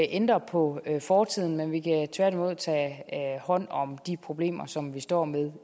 ændre på fortiden men vi kan tværtimod tage hånd om de problemer som vi står med